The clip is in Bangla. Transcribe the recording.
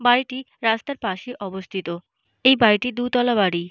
বাড়িটি রাস্তার পাশে অবস্থিত। এই বাড়িটি দুতলা বাড়ি।